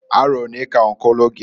Arọ onee k'ọnkụlụ gi?